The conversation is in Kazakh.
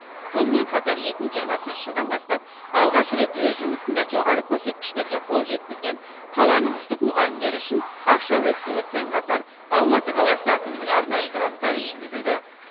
сонымен қатар екі мың жиырмасыншы жылдан бастап алғаш рет өз жұмысында жоғары көрсеткіштерге қол жеткізген қаланың үздік мұғалімдері үшін ақшалай сыйлықпен қатар алматы қаласы әкімінің арнайы гранттары енгізілді